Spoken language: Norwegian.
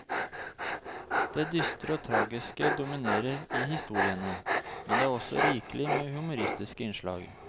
Det dystre og tragiske dominerer i historiene, men det er også rikelig med humoristiske innslag.